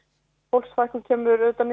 fólksfækkun kemur auðvitað